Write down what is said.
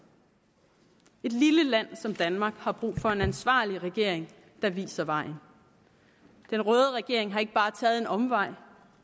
et lille land som danmark har brug for en ansvarlig regering der viser vejen den røde regering har ikke bare taget en omvej